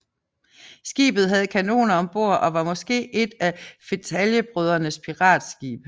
Skibet havde kanoner om bord og var måske et af fetaljebrødrernes piratskibe